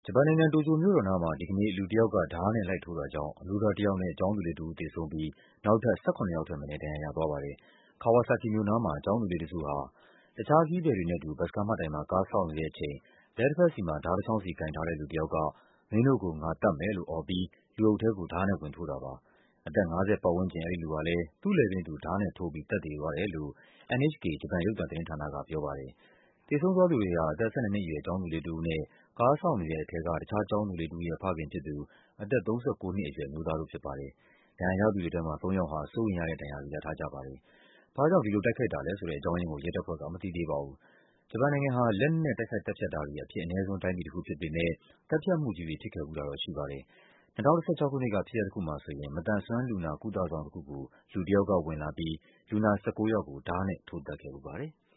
ဂျပန်နိုင်ငံ၊ တိုကျိုမြို့တော်နားမှာ ဒီကနေ့ လူတယောက်က ဓားနဲ့လိုက်ထိုးတာကြောင့် အမျိုးသားတယောက်နဲ့ ကျောင်းသူလေး တဦး သေဆုံးပြီး နောက်ထပ် ၁၇ ယောက်ထက်မနည်း ဒဏ်ရာရသွားပါတယ်။ Kawasaki မြို့နားမှာ ကျောင်းသားလေးတစုဟာ တခြားခရီးသည်တွေနဲ့အတူ ဘတ်စ်ကားမှတ်တိုင်မှာ ကားစောင့်နေတဲ့အချိန် လက်တဘက်စီမှာ ဓားတချောင်းစီကိုင်ထားတဲ့ လူတယောက်က “မင်းတို့ကို ငါသတ်မယ်” လို့အော်ပြီး လူအုပ်ထဲကို ဓားနဲ့ ဝင်ထိုး တာပါ။ အသက် ၅၀ ပတ်ဝန်းကျင် အဲဒီလူဟာလည်း သူ့လည်ပင်းသူ ဓားနဲ့ထိုးပြီး သတ်သေသွားတယ်လို့ NHK ဂျပန် ရုပ်သံသတင်းဌာန က ပြောပါတယ်။ သေဆုံးသွားသူတွေဟာ အသက် ၁၂ နှစ်အရွယ် ကျောင်းသူလေးတဦးနဲ့ ကားစောင့်နေတဲ့ထဲက တခြား ကျောင်းသူလေးတဦးရဲ့ ဖခင်ဖြစ်သူ အသက် ၃၉ နှစ်အရွယ် အမျိုးသားတို့ဖြစ်ပါတယ်။ ဒဏ်ရာရသူတွေထဲမှာ သုံးယောက်ဟာ စိုးရိမ်ရတဲ့ဒဏ်ရာတွေ ရထားကြပါတယ်။ ဘာ့ကြောင့် ဒီလိုတိုက်ခိုက်တာလဲဆိုတဲ့ အကြောင်းရင်းကို ရဲတပ်ဖွဲ့က မသိသေးပါဘူး။ ဂျပန်နိုင်ငံဟာ လက်နက်နဲ့ တိုက်ခိုက်သတ်ဖြတ်တာတွေ အဖြစ်အနည်းဆုံး တိုင်းပြည်တခုဖြစ်ပေမယ့် သတ်ဖြတ်မှုကြီးတွေ ဖြစ်ခဲ့ဖူးတာတော့ရှိပါတယ။် ၂၀၁၆ ခုနှစ်က ဖြစ်ရပ်တခုမှာဆိုရင် မသန်စွမ်းလူနာ ကုသဆောင်တခုကို လူတယောက်က ဝင်လာ ပြီး လူနာ ၁၉ ယောက်ကို ဓားနဲ့ထိုးသတ်ခဲ့ဖူးပါတယ်။